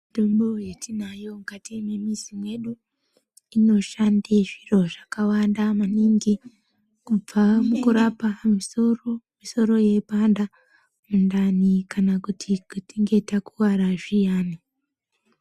Mitombo yatinayo mukati memizi medu inoshande zviro zvakawanda maningi kubva mukurapa misoro musoro yeipanda mundani kana tichinge takuvara zviyani.